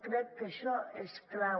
crec que això és clau